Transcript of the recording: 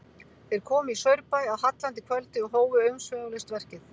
Þeir komu í Saurbæ að hallandi kvöldi og hófu umsvifalaust verkið.